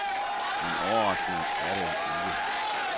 Men overraskende er det ikke.